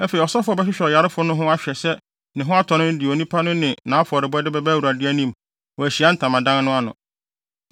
Afei ɔsɔfo a ɔbɛhwehwɛ ɔyarefo no ho ahwɛ sɛ ne ho atɔ no no de onipa no ne nʼafɔrebɔde bɛba Awurade anim wɔ Ahyiae Ntamadan no ano.